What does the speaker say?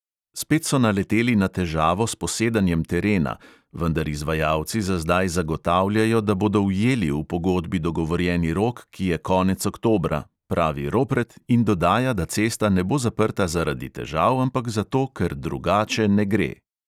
"Spet so naleteli na težavo s posedanjem terena, vendar izvajalci za zdaj zagotavljajo, da bodo ujeli v pogodbi dogovorjeni rok, ki je konec oktobra," pravi ropret in dodaja, da cesta ne bo zaprta zaradi težav, ampak zato, "ker drugače ne gre".